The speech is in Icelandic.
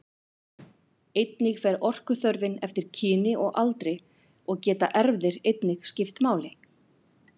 Einnig fer orkuþörfin eftir kyni og aldri og geta erfðir einnig skipt máli.